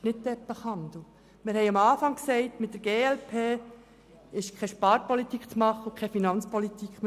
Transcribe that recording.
Wir haben am Anfang gesagt, dass mit der glp keine Sparpolitik und keine Finanzpolitik zu machen ist.